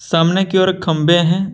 सामने की ओर खंबे हैं।